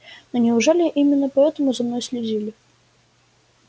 но неужели именно поэтому за мной следили